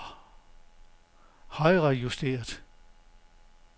højrejusteret